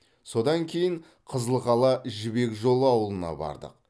содан кейін қызылқала жібек жолы аулына бардық